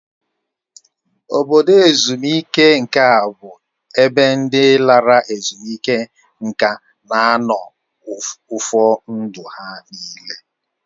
Obodo ezumike nka bụ ebe ndị lara ezumike nka na-anọ ụfọ ndụ ha nịle